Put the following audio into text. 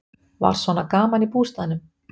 Var svona gaman í bústaðnum?